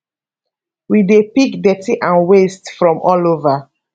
we dey pick dirty and wastes from all over